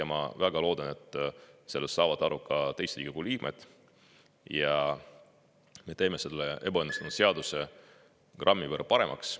Ma väga loodan, et sellest saavad aru ka teised Riigikogu liikmed ja me teeme selle ebaõnnestunud seaduse grammi võrra paremaks.